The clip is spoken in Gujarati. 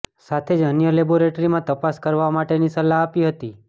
સાથે જ અન્ય લેબોરેટરીમાં તપાસ કરવા માટેની સલાહ આપી હતી